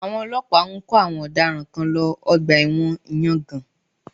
Àwọn ọlọ́pàá ń kó àwọn ọ̀daràn kan lọ Ọgbà ẹ̀wọ̀n ìyangàn